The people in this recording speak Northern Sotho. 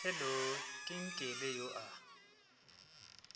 hello ke nkele yo a